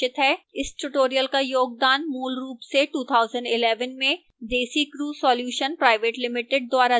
इस tutorial का योगदान मूलरूप से 2011 में desicrew solutions pvt ltd द्वारा दिया गया था